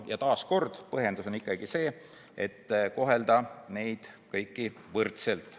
Ja taas põhjendus on see, et tuleb kohelda neid kõiki võrdselt.